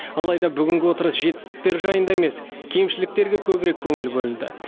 алайда бүгінгі отырыс жетістіктер жайында емес кемшіліктерге көбірек көңіл бөлінді